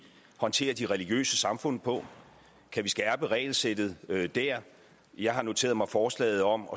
håndterer de religiøse samfund på kan vi skærpe regelsættet der jeg har noteret mig forslaget om